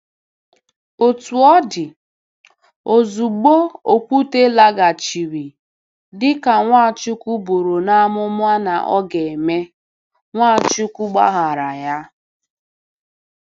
Otú ọ dị, ozugbo Okwute laghachiri, dị ka Nwachukwu buru n’amụma na ọ ga-eme, Nwachukwu gbaghaara ya.